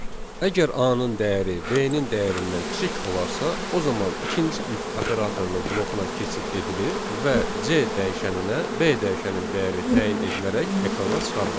Əgər A-nın dəyəri B-nin dəyərindən kiçik olarsa, o zaman ikinci if operatorunun blokuna keçid edilir və C dəyişəninə B dəyişənin dəyəri təyin edilərək ekrana çıxarılacaq.